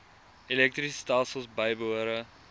elektriese stelsels bybehore